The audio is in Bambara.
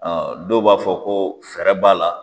dɔw b'a fɔ ko fɛɛrɛ b'a la.